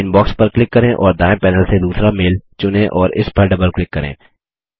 inbox पर click करें और दायें पैनल से दूसरा मेल चुनें और इस पर डबल क्लिक करें